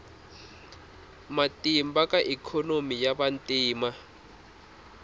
matimba ka ikhonomi ya vantima